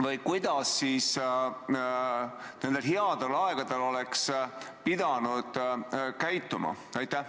Või kuidas me nendel headel aegadel oleks pidanud käituma?